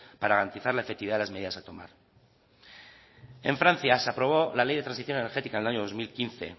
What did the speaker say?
para garantizar le efectividad de las medidas a tomar en francia se aprobó la ley de transición energética en el año dos mil quince